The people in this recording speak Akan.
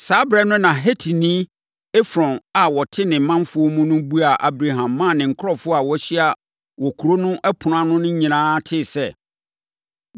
Saa ɛberɛ no na Hetini Efron a ɔte ne manfoɔ mu no buaa Abraham maa ne nkurɔfoɔ a wɔahyia wɔ kuro no ɛpono ano nyinaa tee sɛ,